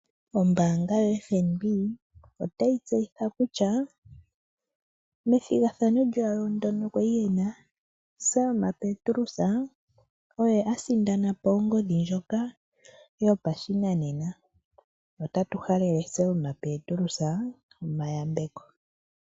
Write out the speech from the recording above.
Selma petrus okwii sindanena onghodi ye yo peke. Nangoye oto vulu owala okusindana, ethi gathano otali hulu mo mulongo nomugoyi ga August.